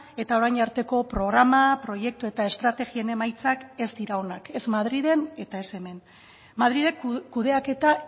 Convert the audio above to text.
eta orain arteko programa proiektu eta estrategien emaitzak ez dira onak ez madrilen eta ez hemen madrilek kudeaketa